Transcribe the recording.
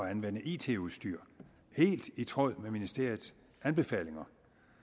at anvende it udstyr helt i tråd med ministeriets anbefalinger